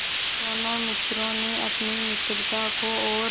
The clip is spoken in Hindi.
दोनों मित्रों ने अपनी मित्रता को और